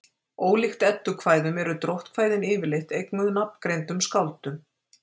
ólíkt eddukvæðum eru dróttkvæðin yfirleitt eignuð nafngreindum skáldum